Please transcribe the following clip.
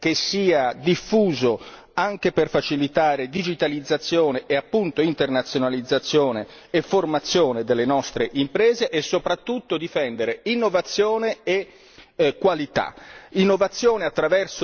un uso dei fondi europei che sia diffuso anche per facilitare la digitalizzazione e, appunto, l'internazionalizzazione e la formazione delle nostre imprese e, soprattutto, la difesa dell'innovazione e della qualità.